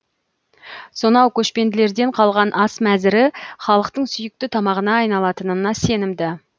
сонау көшпенділерден қалған ас мәзірі халықтың сүйікті тамағына айналатынына сенімді